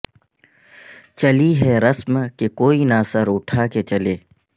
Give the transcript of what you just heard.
چلی ہے رسم کہ کوئی نہ سراٹھا کے چلے